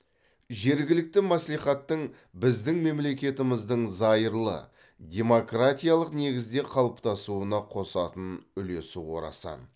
жергілікті мәслихаттың біздің мемлекетіміздің зайырлы демократиялық негізде қалыптасуына қосатын үлесі орасан